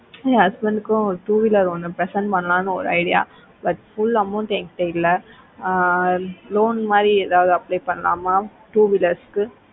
ashwin கும் two weeler present பண்ணல னு ஒரு ideabut full amount என்கிட்ட இல்ல ஆஹ் loan மாரி எதாவது apply பண்ணலாமா two wheelers கு